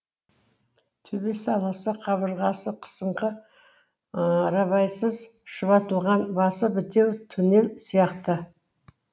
төбесі аласа қабырғасы қысыңқы рабайсыз шұбатылған басы бітеу туннель сияқты